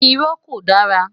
Irọ́ ko dara